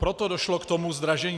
Proto došlo k tomu zdražení.